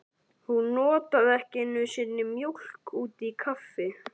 Hún notaði ekki einu sinni mjólk út í kaffi.